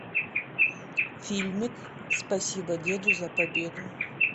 фильмик спасибо деду за победу